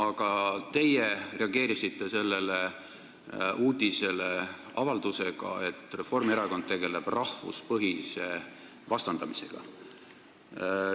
Aga teie reageerisite sellele uudisele avaldusega, nagu Reformierakond tegeleks rahvuspõhise vastandamisega.